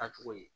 Taa cogo ye